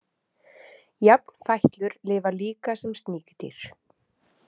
Jafnfætlur lifa líka sem sníkjudýr.